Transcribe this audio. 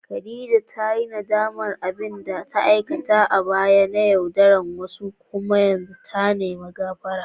Khadija ta yi nadamar abin da ta aikata a baya na yaudarar wasu kuma ta nemi gafara.